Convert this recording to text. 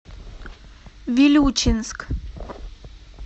вилючинск